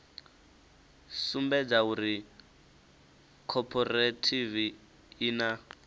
sumbedza uri khophorethivi i na